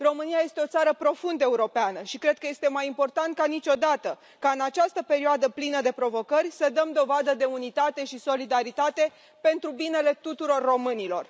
România este o țară profund europeană și cred că este mai important ca niciodată ca, în această perioadă plină de provocări, să dăm dovadă de unitate și solidaritate, pentru binele tuturor românilor.